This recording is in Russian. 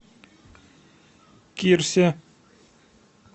кирсе